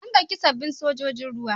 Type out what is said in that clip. An ɗauki sabbin sojojin ruwa.